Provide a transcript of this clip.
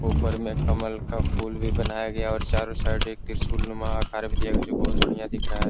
ऊपर में कमल का फूल भी बनाया गया है और चारो साइड में त्रिशूलनुमा अकार दिया गया है जो बढियाँ दिख रहा है।